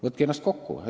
Võtke ennast kokku!